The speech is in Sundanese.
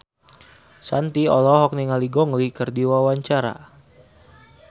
Shanti olohok ningali Gong Li keur diwawancara